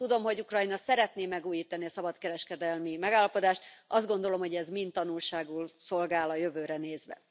Tudom, hogy Ukrajna szeretné megújítani a szabadkereskedelmi megállapodást, azt gondolom, hogy ez mind tanulságul szolgál a jövőre nézve.